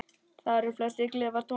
Þar eru flestir klefar tómir.